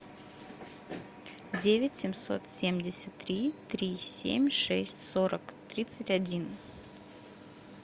девять семьсот семьдесят три три семь шесть сорок тридцать один